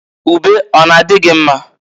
Ube ọ n'a dị gị mma?